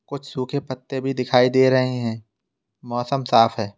कुछ सूखे पत्ते भी दिखाई दे रहे हैं मौसम साफ है।